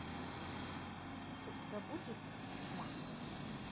у тебя будет тьма